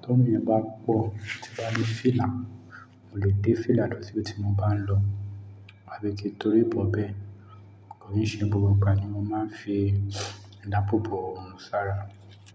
Tí oorun yẹn bá pọ̀ tí n bá nj fìlà, mo lè dé fìlà lọ síbi tí mo bá ń lọ. Àbí kí n torí bọ bẹ́ẹ̀, kò n ṣe gbogbo ìgbà ni wọ́n máa ń fi ìdáàbò bò òòrùn sára.